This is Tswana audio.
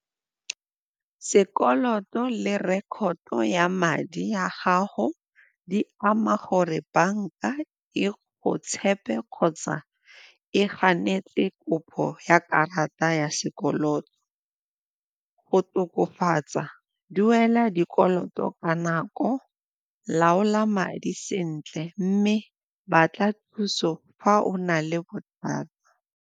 Sekoloto le record-to ya madi ya gago di ama gore banka e go tshepe kgotsa e ganetse kopo ya karata ya sekoloto. Go tokofatsa, duela dikoloto ka nako laola madi sentle mme batla thuso fa o na le bothata.